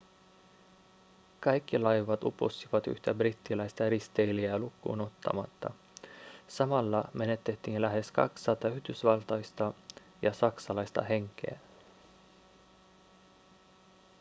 kaikki laivat upposivat yhtä brittiläistä risteilijää lukuun ottamatta samalla menetettiin lähes 200 yhdysvaltalaista ja saksalaista henkeä